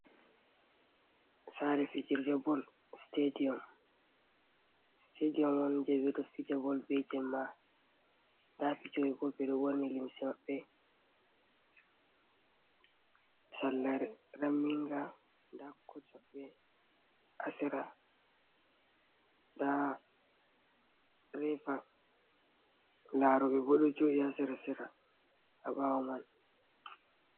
Sare fijirde bol, stediyom. Stediyom on je bedo fija bol ɓe jemma, nda fijo ɓe bol, ɓeɗo ɓorni limse maɓɓe sarla raminga, nda koj maɓbe ha sera, nda refa, laroɓe bo do joɗi ha sera sera ha bawo man.